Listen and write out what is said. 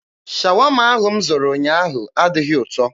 Shawama ahụ m zụrụ ụnyaahụ adịghị ụtọ.